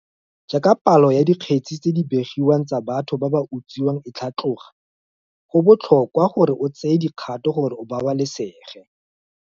Jaaka palo ya dikge tse tse di begiwang tsa batho ba ba utswiwang e tlhatloga, go botlhokwa gore o tseye dikgato gore o babalesege.